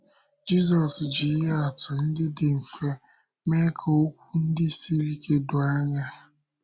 Jízọs jị ihe àtụ̀ ndị dị mfe mee ka okwu ndị siri ike dòó anya.